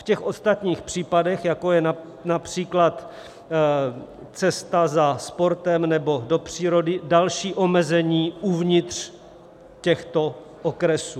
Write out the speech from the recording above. V těch ostatních případech, jako je například cesta za sportem nebo do přírody, další omezení uvnitř těchto okresů.